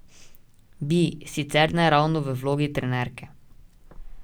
Bi, sicer ne ravno v vlogi trenerke.